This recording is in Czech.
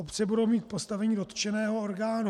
Obce budou mít postavení dotčeného orgánu.